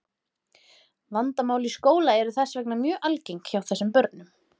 vandamál í skóla eru þess vegna mjög algeng hjá þessum börnum